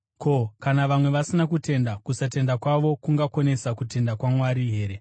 Ko, kana vamwe vasina kutenda? Kusatenda kwavo kungakonesa kutendeka kwaMwari here?